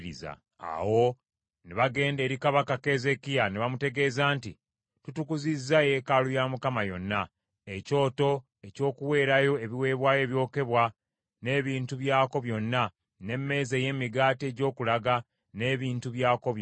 Awo ne bagenda eri kabaka Keezeekiya ne bamutegeeza nti, “Tutukuzizza yeekaalu ya Mukama yonna, ekyoto eky’okuweerayo ebiweebwayo ebyokebwa n’ebintu byakwo byonna, n’emmeeza ey’emigaati egy’okulaga n’ebintu byakwo byonna.